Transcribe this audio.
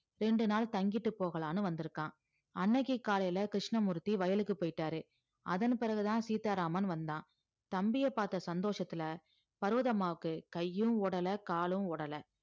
ரெண்டு நாள் தங்கிட்டு போகலாம்னு வந்திருக்கான் அன்னைக்கு காலையில கிருஷ்ணமூர்த்தி வயலுக்கு போயிட்டாரு அதன் பிறகுதான் சீதாராமன் வந்தான் தம்பிய பார்த்த சந்தோஷத்துல பர்வதம்மாவுக்கு கையும் ஒடலை காலும் ஓடலை